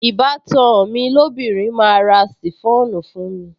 Ìbátan mi lóbìnrin máa ra ṣìfọ́ònù fún mi